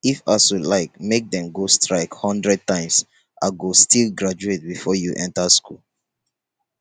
if asuu like make dem go strike hundred times i go still graduate before you enter school